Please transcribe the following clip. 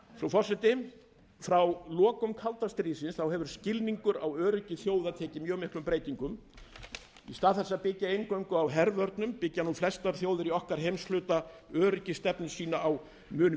forseti frá lokum kalda stríðsins hefur skilningur á öryggi þjóða tekið miklum breytingum í stað þess að byggja eingöngu á hervörnum byggja nú flestar þjóðir í okkar heimshluta öryggisstefnu sína á mun